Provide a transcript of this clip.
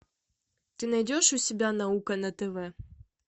ты найдешь у себя наука на тв